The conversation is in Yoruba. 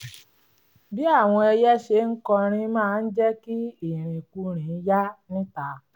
bí àwọn ẹyẹ ṣe ń kọrin máa ń jẹ́ kí ìrìnkúrìn yá níta